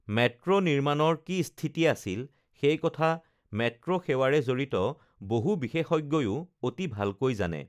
Metro নিৰ্মাণৰ কি স্থিতি আছিল সেই কথা মেট্ৰোসেৱাৰে জড়িত বহু বিশেষজ্ঞয়ো অতি ভালকৈ জানে!